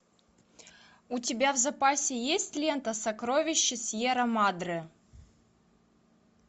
у тебя в запасе есть лента сокровища сьера мадре